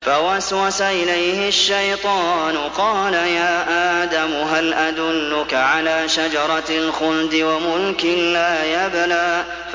فَوَسْوَسَ إِلَيْهِ الشَّيْطَانُ قَالَ يَا آدَمُ هَلْ أَدُلُّكَ عَلَىٰ شَجَرَةِ الْخُلْدِ وَمُلْكٍ لَّا يَبْلَىٰ